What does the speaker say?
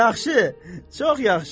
Yaxşı, çox yaxşı.